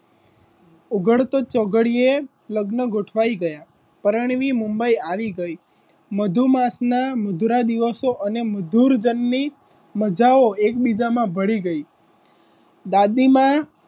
ઉઘડતો ચોઘડીએ લગ્નો ગોઠવાઈ ગયા પરણવી મુંબઈ આવી ગઈ મધુમાસ ના મધુર દિવસો અને મધુર જન્મી મજાઓ એકબીજા માં ભડી ગઈ દાદીમાં,